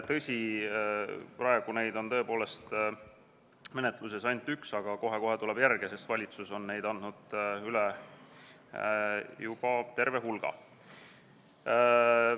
Tõsi, praegu on neid menetluses ainult üks, aga kohe-kohe tulevad järgmised, sest valitsus on neid üle andnud juba terve hulga.